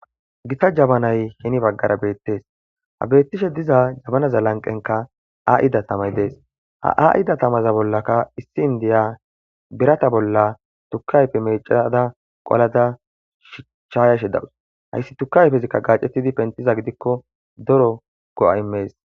Gita jabanay hen bagara betes. Ha betishe diza jabanaza lanqenka a'ida tamay Des. Ha a'ida tamaza bollaka issi indiya birata bolla tuke ayfe mecada qolada shayashe dawus, hays tuke ayfezika gacetid pentiza gidiko daro go'a imes.